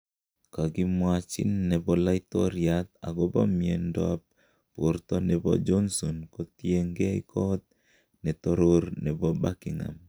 Kogimwachin nebo laitoriat agobo miendo ab borto nebo Johnson kotiengei kot netoror nebo Buckingham.